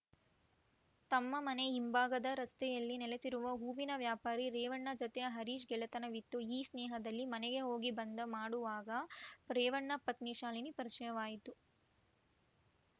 ತಮ್ಮ ಮನೆ ಹಿಂಭಾಗ ರಸ್ತೆಯಲ್ಲಿ ನೆಲೆಸಿರುವ ಹೂವಿನ ವ್ಯಾಪಾರಿ ರೇವಣ್ಣ ಜತೆ ಹರೀಶ್‌ ಗೆಳೆತನವಿತ್ತು ಈ ಸ್ನೇಹದಲ್ಲಿ ಮನೆಗೆ ಹೋಗಿ ಬಂದು ಮಾಡುವಾಗ ರೇವಣ್ಣ ಪತ್ನಿ ಶಾಲಿನಿ ಪರಿಚಯವಾಯಿತು